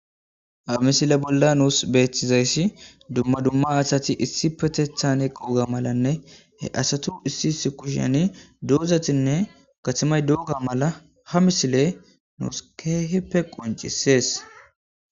hamisile bolla nuus beetizayssi dumma dumma asati issi petethan e quuga malanne he asatu issi issi kushani doozatinne gatamay dooga mala ha misile nuus kee hipe qoncisees